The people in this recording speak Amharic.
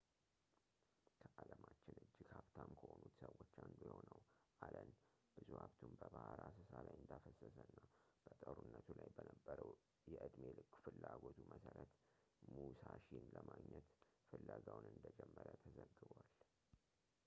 ከዓለማችን እጅግ ሀብታም ከሆኑት ሰዎች አንዱ የሆነው አለን ብዙ ሀብቱን በባህር አሰሳ ላይ እንዳፈሰሰ እና በጦርነቱ ላይ በነበረው የዕድሜ ልክ ፍላጎቱ መሰረት ሙሳሺን ለማግኘት ፍለጋውን እንደጀመረ ተዘግቧል